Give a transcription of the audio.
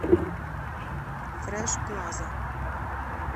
фрэш плаза